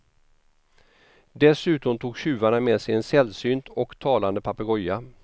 Dessutom tog tjuvarna med sig en sällsynt och talande papegoja.